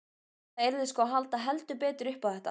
Það yrði sko að halda heldur betur upp á þetta!